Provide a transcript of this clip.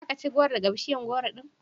Za ka ci gworo daga bishiyar gworo din?